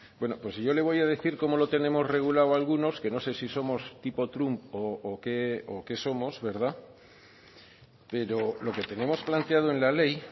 bueno pues yo le voy a decir cómo lo tenemos regulado algunos que no sé si somos tipo trump o qué somos verdad pero lo que tenemos planteado en la ley